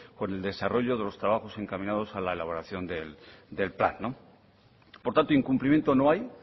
con el desarrollo de los trabajos encaminados a la elaboración del plan por tanto incumplimiento no hay